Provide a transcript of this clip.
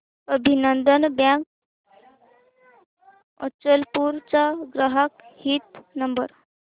अभिनंदन बँक अचलपूर चा ग्राहक हित नंबर